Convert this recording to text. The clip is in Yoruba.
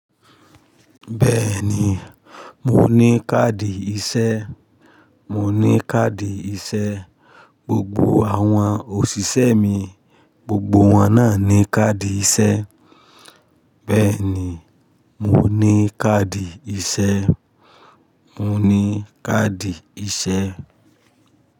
Bẹ́ẹ̀ni, mo ní káàdì iṣẹ́. Mo ní káàdì iṣẹ́. Gbogbo àwọn òṣìṣẹ́ mi, gbogbo wọn náà ní káàdì iṣẹ́. Bẹ́ẹ̀ni, mo ní káàdì iṣẹ́. Mo ní káàdì iṣẹ́.